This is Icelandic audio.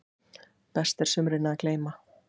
Best er sumrinu að gleyma.